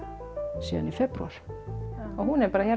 síðan í febrúar og hún er bara hér á